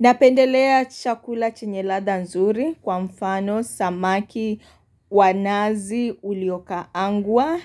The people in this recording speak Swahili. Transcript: Napendelea chakula chenye ladha nzuri kwa mfano samaki wa nazi uliokaangwa